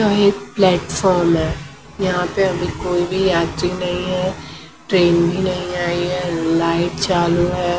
ये एक प्लेटफॉर्म है यहाँ पे अभी कोई भी यात्री नहीं है ट्रेन भी नहीं आई है लाइट चालू है।